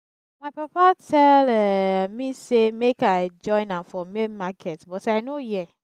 my papa tell me say make i join am for main market but i no hear